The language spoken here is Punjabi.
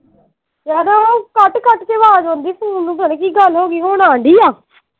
ਆਵਾਜ਼ ਆਉਂਦੀ phone ਨੂੰ ਪਤਾ ਨਹੀਂ ਕੀ ਗੱਲ ਹੋਗੀ ਹੁਣ ਆਂਦੀ ਆ।